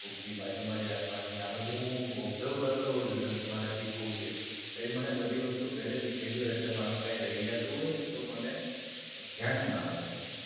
ભૂકી બાજુમાં જ રાખવાની આ બધું હું observe કરતો હોવું છું કેમ કે મારે સિખવું છે તમે મને બધી વસ્તુ પેલેથી કેજો અટલે મારૂ કય રય જાતુ હોય ને તો મને ધ્યાન માં આવે.